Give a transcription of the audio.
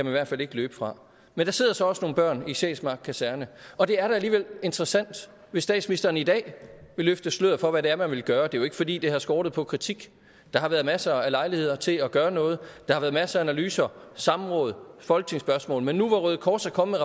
i hvert fald ikke løbe fra men der sidder så også nogle børn i sjælsmark kaserne og det er da alligevel interessant hvis statsministeren i dag vil løfte sløret for hvad det er man vil gøre det er jo ikke fordi det har skortet på kritik der har været masser af lejligheder til at gøre noget der har været masser af analyser samråd folketingsspørgsmål men nu hvor røde kors er kommet